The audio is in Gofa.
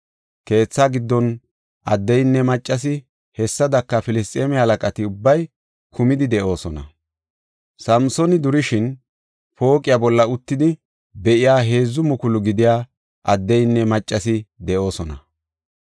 Keethaa giddon addeynne maccasi, hessadaka Filisxeeme halaqati ubbay kumidi de7oosona. Samsooni durishin, pooqiya bolla uttidi be7iya heedzu mukulu gidiya addeynne maccasi be7oosona.